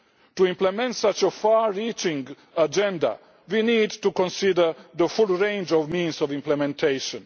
To implement such a far reaching agenda, we need to consider the full range of means of implementation.